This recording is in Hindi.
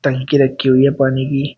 टंकी रखी हुई है पानी की।